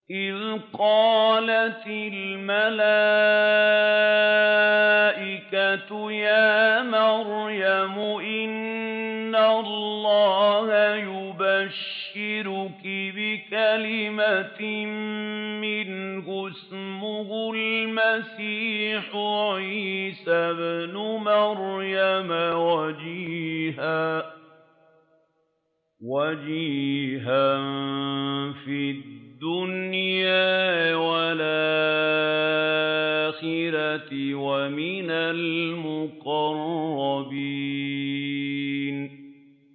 إِذْ قَالَتِ الْمَلَائِكَةُ يَا مَرْيَمُ إِنَّ اللَّهَ يُبَشِّرُكِ بِكَلِمَةٍ مِّنْهُ اسْمُهُ الْمَسِيحُ عِيسَى ابْنُ مَرْيَمَ وَجِيهًا فِي الدُّنْيَا وَالْآخِرَةِ وَمِنَ الْمُقَرَّبِينَ